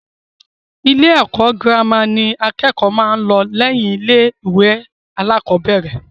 Ilé ẹ̀kọ́ girama ni àkẹ́kọ̀ọ́ máa ń lọ lẹ́yìn ilé-ìwé alákọ̀ọ́bẹ̀rẹ̀.